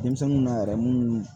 Denmisɛnninw na yɛrɛ munnu